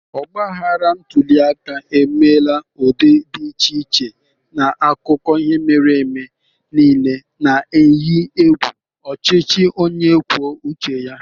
Ogbaghara ntuli aka emela n'ụdị dị iche iche n'akụkọ ihe mere eme niile, na-eyi egwu ọchịchị onye kwuo uche ya.